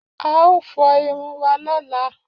A ó fọ irun wa lọ́la.